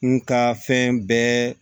N ka fɛn bɛɛ